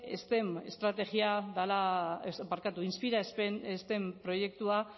inspira steam proiektua